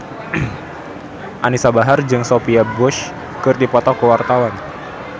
Anisa Bahar jeung Sophia Bush keur dipoto ku wartawan